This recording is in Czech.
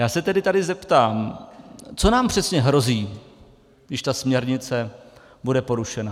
Já se tady tedy zeptám, co nám přesně hrozí, když ta směrnice bude porušena.